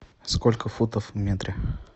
сколько футов в метре